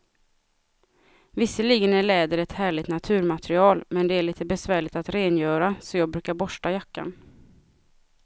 Visserligen är läder ett härligt naturmaterial, men det är lite besvärligt att rengöra, så jag brukar borsta jackan.